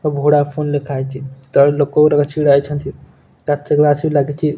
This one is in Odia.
ଭୋଡ଼ା ଫୋନ୍ ଲେଖାହେଇଚି। ତଳେ ଲୋକ ଉରାକ ଛିଡ଼ା ହେଇଛନ୍ତି। କାଚ ଗ୍ଲାସ୍ ବି ଲାଗିଚି।